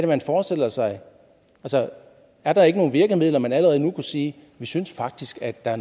man forestiller sig er der ikke nogen virkemidler hvor man allerede nu kunne sige vi synes faktisk at der